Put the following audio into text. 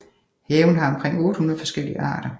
Haven har omkring 800 forskellige arter